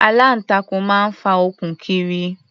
Aláǹtakùn máa ń fa okùn kiri.